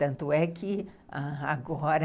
Tanto é que agora...